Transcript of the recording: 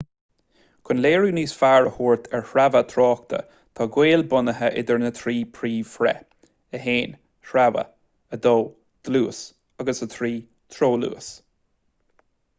chun léiriú níos fearr a thabhairt ar shreabhadh tráchta tá gaol bunaithe idir na trí phríomhthréith: 1 sreabhadh 2 dlús agus 3 treoluas